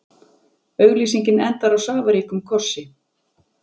Auglýsingin endar á safaríkum kossi.